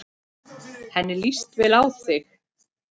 Henni líst vel á þig.